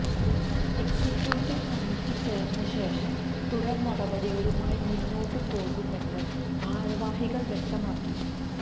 executive committee ചേർന്ന ശേഷം തുടർ നടപടികളുമായി മുന്നോട്ടു പോകുമെന്നും ഭാരവാഹികൾ വ്യക്തമാക്കി